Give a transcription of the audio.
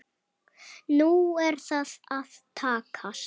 Nú er það að takast.